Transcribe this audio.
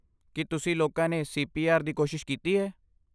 ਕੀ ਤੁਸੀਂ ਲੋਕਾਂ ਨੇ ਸੀ ਪੀ ਆਰ ਦੀ ਕੋਸ਼ਿਸ਼ ਕੀਤੀ ਹੈ?